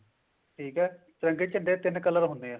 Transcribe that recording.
ਠੀਕ ਹੈ ਤਿਰੰਗੇ ਝੰਡੇ ਦੇ ਤਿੰਨ color ਹੁੰਦੇ ਆ